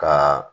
Ka